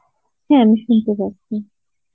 হ্যাঁ আমি শুনতে পাচ্ছি